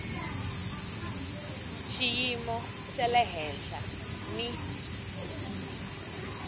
xiyimo xa le henhla ni